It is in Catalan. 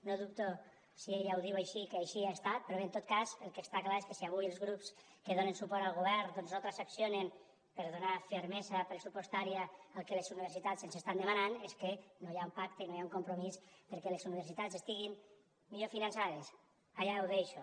no dubto si ella ho diu així que així ha estat però bé en tot cas el que està clar és que si avui els grups que donen suport al govern doncs no transaccionen per donar fermesa pressupostària al que les universitats ens estan demanant és que no hi ha un pacte no hi ha un compromís perquè les universitats estiguin millor finançades allà ho deixo